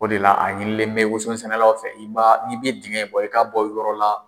O de la a ɲinilen bɛ woso sɛnɛlaw fɛ, i ma, n'i bɛ dingɛ bɔ i ka bɔ yɔrɔ la.